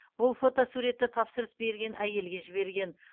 бұл фотосуретті тапсырыс берген әйелге жіберген